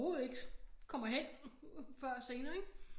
Overhovedet ikke kommer hen før senere ikke